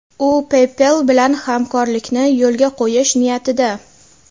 U PayPal bilan hamkorlikni yo‘lga qo‘yish niyatida.